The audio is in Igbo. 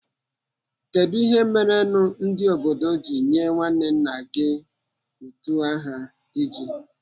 Kedụ ihe merenụ ndi obodo ji nyee nwanne nna gị utu aha Diji?